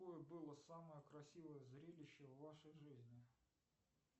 какое было самое красивое зрелище в вашей жизни